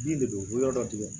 Bin de bɛ wolo dɔ tigɛ